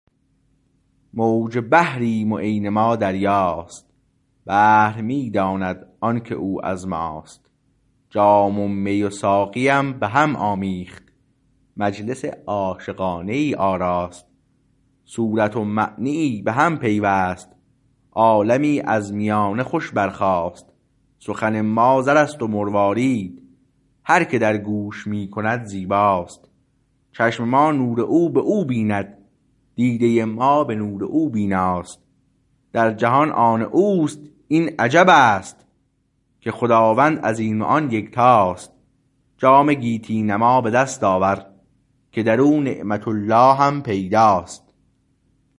موج بحریم و عین ما دریاست بحر می داند آنکه او از ماست جام و می ساقیم به هم آمیخت مجلس عاشقانه ای آراست صورت و معنیی به هم پیوست عالمی از میانه خوش برخاست سخن ما زر است و مروارید هر که در گوش می کند زیباست چشم ما نور او به او بیند دیده ما به نور او بیناست در جهان آن اوست این عجبست که خداوند از این و آن یکتاست جام گیتی نما به دست آور که درو نعمت اللهم پیداست